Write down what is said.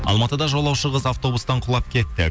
алматыда жолаушы қыз автобустан құлап кетті